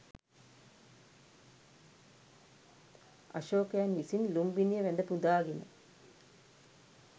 අශෝකයන් විසින් ලුම්බිණිය වැඳපුදාගෙන